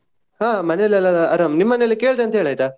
ಹಾ ಮನೆಯಲ್ಲಿ ಎಲ್ಲಾ ಆರಾಮ್, ನಿಮ್ ಮನೆಯಲ್ಲಿ ಕೇಳ್ದೆ ಅಂತ ಹೇಳು ಆಯ್ತಾ?